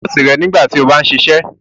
O gbọdọ wọ aṣọ nọọsi rẹ nígbàtí o bá n ṣiṣẹ!